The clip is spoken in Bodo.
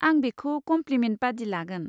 आं बेखौ कमप्लिमेन्ट बादि लागोन।